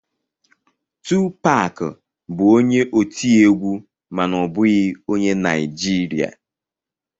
Tupac bụ onye otiegwu mana ọ bụghị onye Naijiria